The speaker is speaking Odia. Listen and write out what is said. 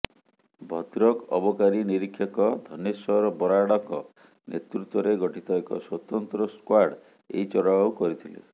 ଭଦ୍ରକ ଅବକାରୀ ନିରୀକ୍ଷକ ଧନେଶ୍ୱର ବରାଡଙ୍କ ନେତୃତ୍ୱରେ ଗଠିତ ଏକ ସ୍ୱତନ୍ତ୍ର ସ୍କ୍ୱାର୍ଡ ଏହି ଚଢାଉ କରିଥିଲେ